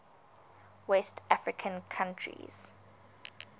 west african countries